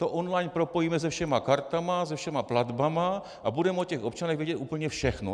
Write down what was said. To online propojíme se všemi kartami, se všemi platbami a budeme o těch občanech vědět úplně všechno.